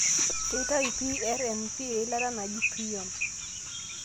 keitayu PRNP eilata naji prion.